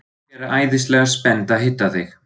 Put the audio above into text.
Þau eru æðislega spennt að hitta þig.